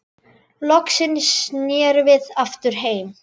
Loksins snerum við aftur heim.